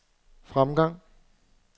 fremgang